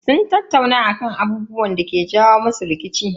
Sun tattauna akan abubuwan da yake jawo musu rikici.